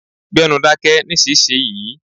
Gbẹ́nu dáké nísìsi yìí.